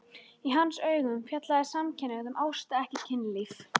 Í hans augum fjallaði samkynhneigð um ást, ekki kynlíf.